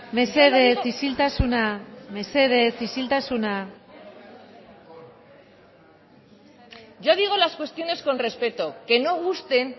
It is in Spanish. mesedez isiltasuna mesedez isiltasuna yo digo las cuestiones con respeto que no gusten